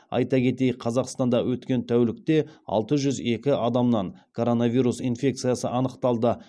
айта кетейік қазақстанда өткен тәулікте алты жүз екі адамнан коронавирус инфекциясы анықталды